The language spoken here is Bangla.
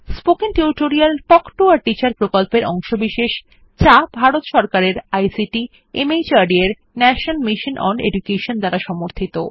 spoken tutorial talk to a teacher প্রকল্পের অংশবিশেষ যা ভারত সরকারের আইসিটি মাহর্দ এর ন্যাশনাল মিশন ওন এডুকেশন দ্বারা সমর্থিত